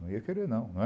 Não ia querer não, não é?